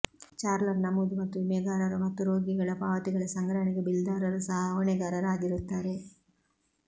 ಚಾರ್ಲರ್ ನಮೂದು ಮತ್ತು ವಿಮೆಗಾರರು ಮತ್ತು ರೋಗಿಗಳ ಪಾವತಿಗಳ ಸಂಗ್ರಹಣೆಗೆ ಬಿಲ್ದಾರರು ಸಹ ಹೊಣೆಗಾರರಾಗಿರುತ್ತಾರೆ